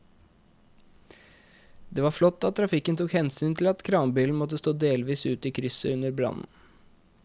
Det var flott at trafikken tok hensyn til at kranbilen måtte stå delvis ute i krysset under brannen.